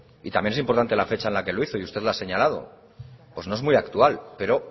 y también es importante la fecha en la que lo hizo y usted lo ha señalado pues no es muy actual pero